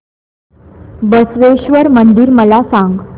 बसवेश्वर मंदिर मला सांग